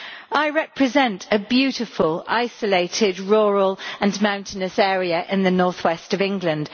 I represent a beautiful, isolated, rural and mountainous area in the northwest of England.